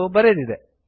ಎಂದು ಬರೆದಿದೆ